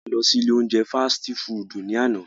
A lọ si ile ounjẹ fasiti fudu ni ana.